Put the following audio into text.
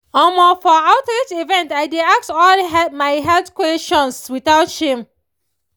omoh for outreach events i dey ask all my health questions without shame